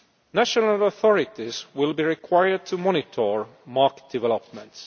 National authorities will be required to monitor market developments.